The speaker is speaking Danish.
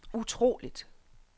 utroligt